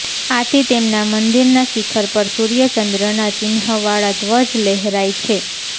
આથી તેમના મંદિરના શિખર પર સૂર્ય ચંદ્રના ચિન્હવાળા ધ્વજ લહેરાય છે